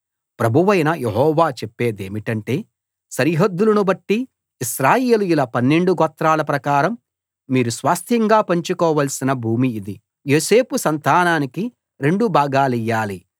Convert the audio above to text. ప్రభువైన యెహోవా చెప్పేదేమిటంటే సరిహద్దులను బట్టి ఇశ్రాయేలీయుల 12 గోత్రాల ప్రకారం మీరు స్వాస్థ్యంగా పంచుకోవాల్సిన భూమి ఇది యోసేపు సంతానానికి రెండు భాగాలియ్యాలి